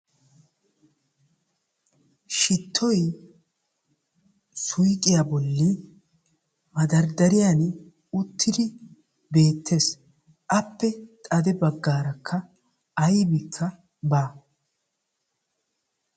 Shittoy suuyiqqiyaa bolli maddardariyan uttidi bettees, Appe xadde baggaarakka aybbikka baa.